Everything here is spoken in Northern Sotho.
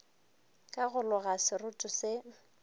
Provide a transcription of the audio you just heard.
ka go loga seroto se